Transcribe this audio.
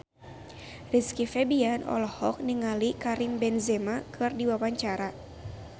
Rizky Febian olohok ningali Karim Benzema keur diwawancara